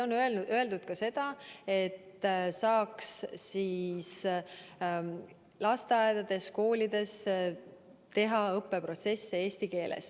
On öeldud ka seda, et saaks lasteaedades-koolides teha õppeprotsessi eesti keeles.